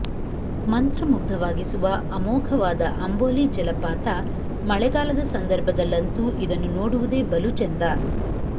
ಮಂತ್ರಮುಗ್ಧವಾಗಿಸುವ ಅಮೋಘವಾದ ಅಂಬೋಲಿ ಜಲಪಾತ ಮಳೆಗಾಲದ ಸಂದರ್ಭದಲ್ಲಂತೂ ಇದನ್ನು ನೋಡುವುದೆ ಬಲು ಚೆಂದ